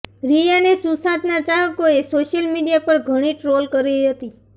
રિયાને સુશાંતના ચાહકોએ social media પર ઘણી ટ્રોલ કરી હતી